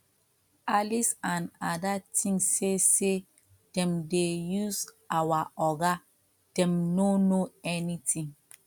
alice and ada think say say dem dey use our oga dem no know anything